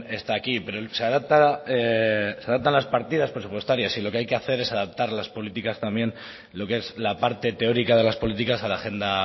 está aquí pero se adaptan las partidas presupuestarias y lo que hay que hacer es adaptar las políticas también lo que es la parte teórica de las políticas a la agenda